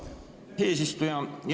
Aitäh, eesistuja!